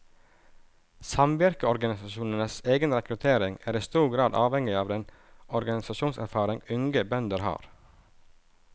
Samvirkeorganisasjonenes egen rekruttering er i stor grad avhengig av den organisasjonserfaring unge bønder har.